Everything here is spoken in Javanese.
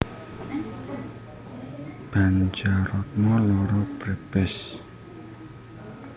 Banjaratma loro Brebes